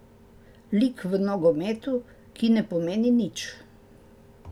Lik v nogometu, ki ne pomeni nič.